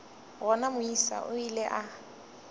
gona moisa o ile a